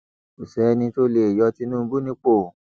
kò sẹni tó lè yọ tinubu nípò